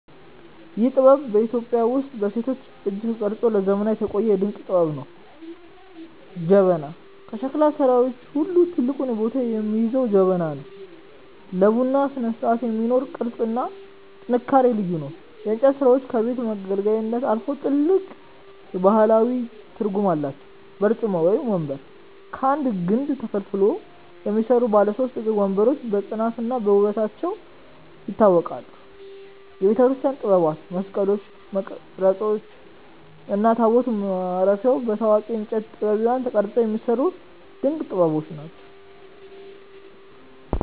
ይህ ጥበብ በኢትዮጵያ ውስጥ በሴቶች እጅ ተቀርጾ ለዘመናት የቆየ ድንቅ ጥበብ ነው። ጀበና፦ ከሸክላ ሥራዎች ሁሉ ትልቁን ቦታ የሚይዘው ጀበና ነው። ለቡና ስነስርዓት የሚኖረው ቅርጽና ጥንካሬ ልዩ ነው። የእንጨት ሥራዎቻችን ከቤት መገልገያነት አልፈው ጥልቅ ባህላዊ ትርጉም አላቸው። በርጩማ (ወንበር)፦ ከአንድ ግንድ ተፈልፍለው የሚሰሩ ባለ ሦስት እግር ወንበሮች በጽናትና በውበታቸው ይታወቃሉ። የቤተክርስቲያን ጥበባት፦ መስቀሎች፣ መቅረዞች እና ታቦት ማረፊያዎች በታዋቂ የእንጨት ጠቢባን ተቀርጸው የሚሰሩ ድንቅ ጥበቦች ናቸው።